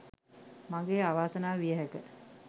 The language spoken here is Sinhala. මගේ අවාසනාව විය හැක!